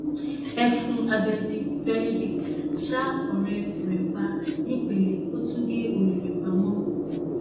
ẹfun abẹẹdì benedict ṣa ọrẹ rẹ pa nìpele ó tún gé orí rẹ pamọ